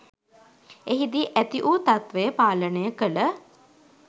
එහිදී ඇති වු තත්ත්වය පාලනය කළ